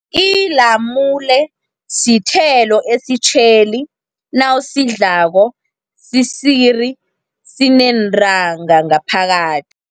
Ilamule sithelo esitjheli nawusidlako sisiri, sineentanga ngaphakathi.